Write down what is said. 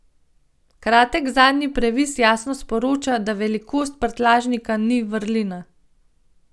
Kratek zadnji previs jasno sporoča, da velikost prtljažnika ni vrlina.